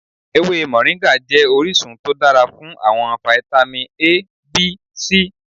Ewe Moringa jẹ orisun to dara fun awọn vitamin A, B, C